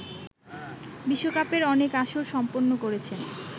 বিশ্বকাপের অনেক আসর সম্পন্ন করেছেন